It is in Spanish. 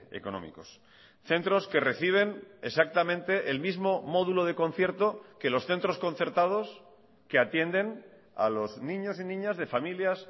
económicos centros que reciben exactamente el mismo módulo de concierto que los centros concertados que atienden a los niños y niñas de familias